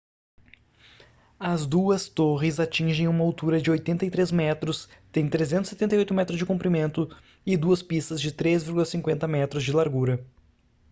as duas torres atingem uma altura de 83 metros têm 378 metros de comprimento e duas pistas de 3,50 m de largura